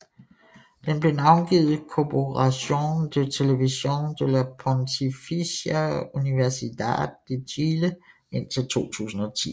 Den blev navngivet Corporación de Televisión de la Pontificia Universidad de Chile indtil 2010